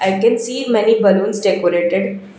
i can see many balloons decorated.